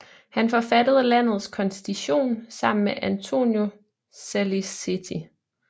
Han forfattede landets konstitution sammen med Antonio Saliceti